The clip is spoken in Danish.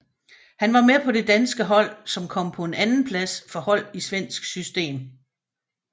Han var med på det danske hold som kom på en andenplads for hold i svensk system